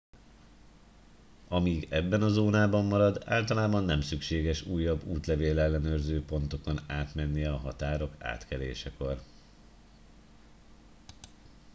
amíg ebben a zónában marad általában nem szükséges újabb útlevél ellenőrző pontokon átmennie a határok átkelésekor